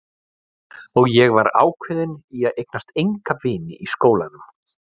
Og ég er ákveðin í að eignast enga vini í skólanum.